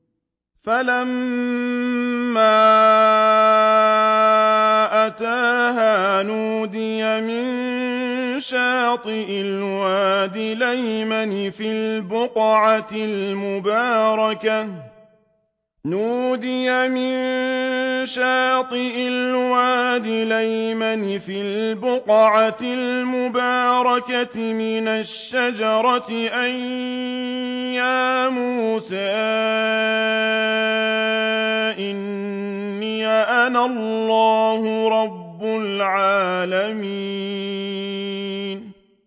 فَلَمَّا أَتَاهَا نُودِيَ مِن شَاطِئِ الْوَادِ الْأَيْمَنِ فِي الْبُقْعَةِ الْمُبَارَكَةِ مِنَ الشَّجَرَةِ أَن يَا مُوسَىٰ إِنِّي أَنَا اللَّهُ رَبُّ الْعَالَمِينَ